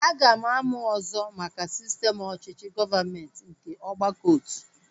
Aga m amụ ọzọ maka sistem ọchịchị gọọmenti nke ọgbakọotu